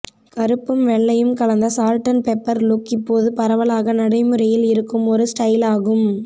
கருப்பும் வெள்ளையும் கலந்த சால்ட் அண்ட் பெப்பர் லுக் இப்போது பரவலாக நடைமுறையில் இருக்கும் ஒரு ஸ்டைலாகும்